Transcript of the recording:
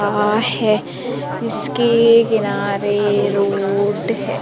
आ है। इसके किनारे रोड है।